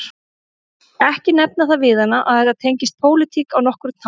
Ekki nefna það við hana að þetta tengist pólitík á nokkurn hátt